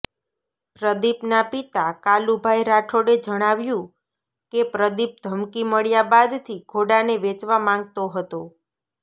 પ્રદીપના પિતા કાલુભાઈ રાઠોડે જણાવ્યું કે પ્રદીપ ધમકી મળ્યા બાદથી ઘોડાને વેચવા માંગતો હતો